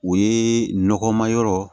O ye nɔgɔma yɔrɔ